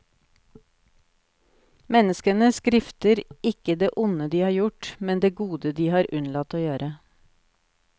Menneskene skrifter ikke det onde de har gjort, men det gode de har unnlatt å gjøre.